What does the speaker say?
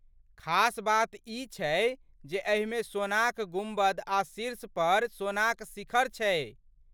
खास बात ई छै जे एहिमे सोनाक गुम्बद आ शीर्षपर सोनाक शिखर छै।